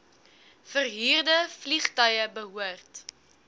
verhuurde vliegtuie behoort